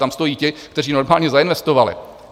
Tam stojí ti, kteří normálně zainvestovali.